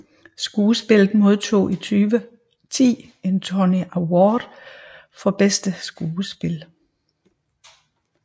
Skuespillet modtog i 2010 en Tony Award for Bedste Skuespil